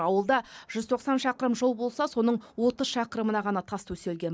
ауылда жүз тоқсан шақырым жол болса соның отыз шақырымына ғана тас төселген